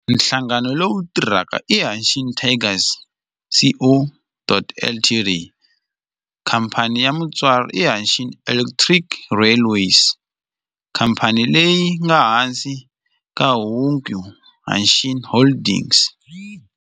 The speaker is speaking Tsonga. Nhlangano lowu tirhaka i Hanshin Tigers Co., Ltd. Khamphani ya mutswari i Hanshin Electric Railway, khamphani leyi nga ehansi ka Hankyu Hanshin Holdings.